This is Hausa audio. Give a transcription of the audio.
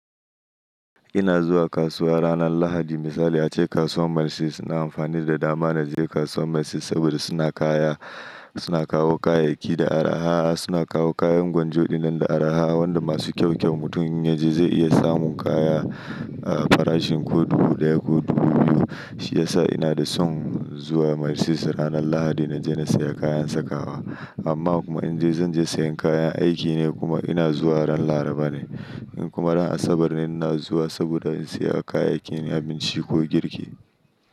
Ina zuwa kasuwa ranar Lahadi. Misali ace kasuwar Marisis na amfani da dama na je kasuwar Marisis saboda suna kaya, suna kawo kayayyaki da araha. Suna kawo kayan gwanjo dinnan da araha wanda masu kyau-kyau mutum inya je zai iya samun kaya a farashin ko dubu ɗaya ko dubu biyu. Shiyasa ina da son zuwa Marisis ranar Lahadi na je na saya kayan sakawa. Amma kuma in je zan je sayan kayan aiki ne kuma ina zuwa ran Laraba ne. Kuma ran Asabar ne ina zuwa saboda in saya kayayyakin abinci ko girki.